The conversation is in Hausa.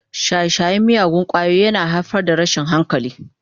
Shaye-shayen miyagun ƙwayoyi yana haifar da rashin hankali.